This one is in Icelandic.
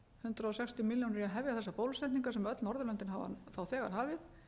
hundrað sextíu milljónir í að hefja þessar bólusetningar sem öll norðurlöndin hafa þá þegar hafið